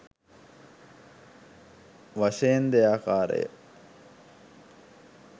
වශයෙන් දෙයාකාරය.